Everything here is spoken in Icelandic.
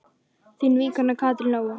Þín vinkona Katrín Lóa.